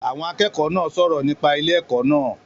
Àwọn akẹ́kọ̀ọ́ náà sọ̀rọ̀ nípa ilé ẹ̀kọ́ náà